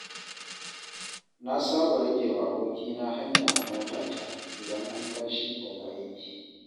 Na saba ragewa abokina hanya a motata, idan an tashi daga aiki.